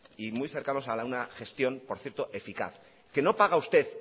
y muy cercanos a una gestión por cierto eficaz no paga usted